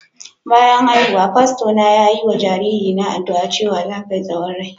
Bayan haihuwa, fasto na yayi ma jariri na addu'a cewa "Za ka yi tsawon rai. "